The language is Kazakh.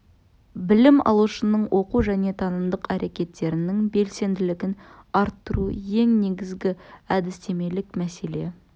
білім алушының оқу және танымдық әрекеттерінің белсенділігін арттыру ең негізгі әдістемелік мәселе